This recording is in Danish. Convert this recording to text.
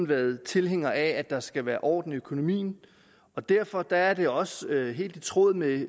været tilhængere af at der skal være orden i økonomien og derfor er det også helt i tråd med